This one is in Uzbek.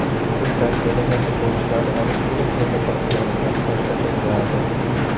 O‘zim tarbiyalagan futbolchilarni olib kelib o‘ynata olganimda boshqacha bo‘lardi.